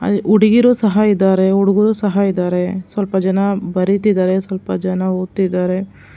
ಅಲ್ಲಿ ಹುಡ್ಗೀರು ಸಹ ಇದಾರೆ ಹುಡ್ಗುರು ಸಹ ಇದಾರೆ ಸ್ವಲ್ಪ ಜನ ಬರಿತಿದರೆ ಸ್ವಲ್ಪ ಜನ ಓದುತ್ತಾಇದಾರೆ.